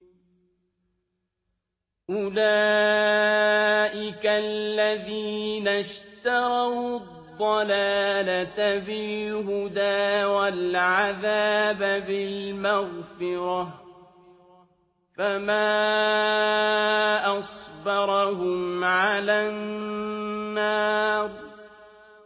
أُولَٰئِكَ الَّذِينَ اشْتَرَوُا الضَّلَالَةَ بِالْهُدَىٰ وَالْعَذَابَ بِالْمَغْفِرَةِ ۚ فَمَا أَصْبَرَهُمْ عَلَى النَّارِ